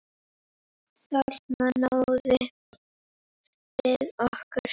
Þarna náðum við ykkur!